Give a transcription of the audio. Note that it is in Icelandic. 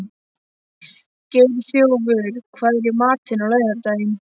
Geirþjófur, hvað er í matinn á laugardaginn?